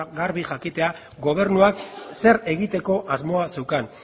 garbi jakitea gobernuak zer egiteko asmoa zeukan